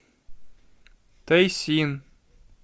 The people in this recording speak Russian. тайсин